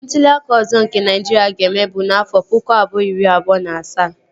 Ntụli aka ọzọ nke Naịjiria ga-eme bụ n'afọ pụkụ abụọ iri abụọ na asaa